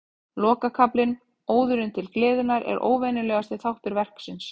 Lokakaflinn, Óðurinn til gleðinnar, er óvenjulegasti þáttur verksins.